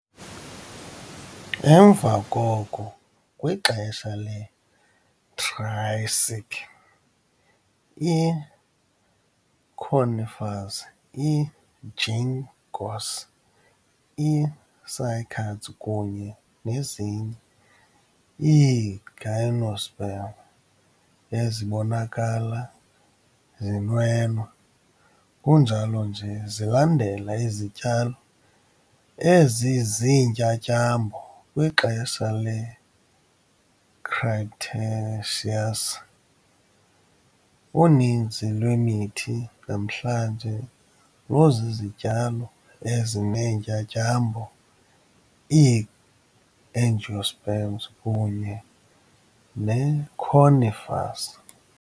Emva koko, kwixesha leTriassic, iconifers, iginkgos, icycads kunye nezinye iigymnosperm ezibonakala zinwenwa, kunjalo nje zilandela izityalo eziziintyatyambo kwixesha leCretaceous. uninzi lwemithi namhlanje luzizityalo ezineetyatyambo, iiAngiosperms, kunye neconifers.